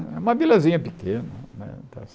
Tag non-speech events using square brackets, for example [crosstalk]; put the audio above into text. Uma vilazinha pequena. [unintelligible]